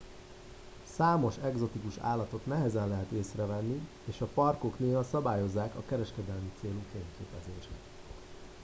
számos egzotikus állatot nehezen lehet észre venni és a parkok néha szabályozzák a kereskedelmi célú fényképezést